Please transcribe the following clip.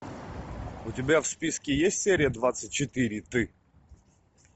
у тебя в списке есть серия двадцать четыре ты